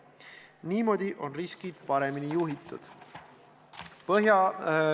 Niimoodi on riskid paremini juhitud.